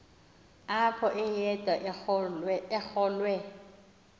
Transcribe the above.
apho wayede arolwe